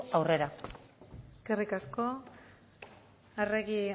aurrera eskerrik asko arregi